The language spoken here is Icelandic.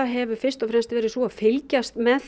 hefur fyrst og fremst verið sú að fylgjast með